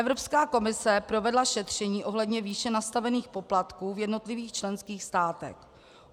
Evropská komise provedla šetření ohledně výše nastavených poplatků v jednotlivých členských státech.